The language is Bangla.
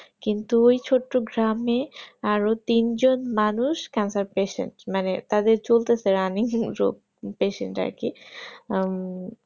কিন্তু ওই ছোট্ট গ্রামে আরো তিন জন মানুষ cancer patient মানে তাদের চলতেছে অনেক রোগ running patient আরকি আহ